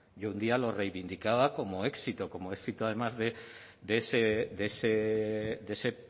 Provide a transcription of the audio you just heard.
y un día lo reivindicaba como éxito como éxito además de ese